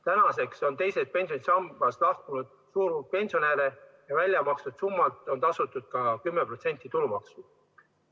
Tänaseks on teisest pensionisambast lahkunud suur hulk pensionäre ja välja makstud summalt on tasutud ka 10% tulumaksu.